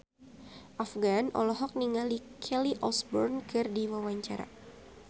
Afgan olohok ningali Kelly Osbourne keur diwawancara